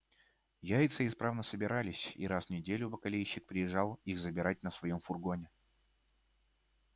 яйца исправно собирались и раз в неделю бакалейщик приезжал их забирать на своём фургоне